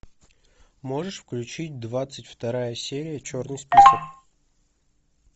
можешь включить двадцать вторая серия черный список